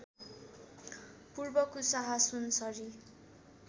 पूर्व कुसाहा सुनसरी